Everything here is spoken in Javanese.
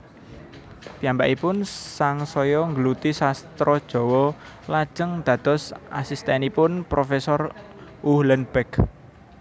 Piyambakipun sangsaya nggeluti sastra Jawa lajeng dados asistènipun profésor Uhlenbeck